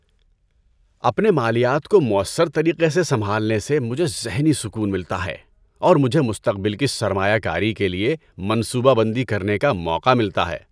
اپنے مالیات کو مؤثر طریقے سے سنبھالنے سے مجھے ذہنی سکون ملتا ہے اور مجھے مستقبل کی سرمایہ کاری کے لیے منصوبہ بندی کرنے کا موقع ملتا ہے۔